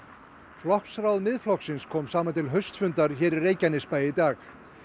flokksráð Miðflokksins kom saman til haustfundar hér í Reykjanesbæ í dag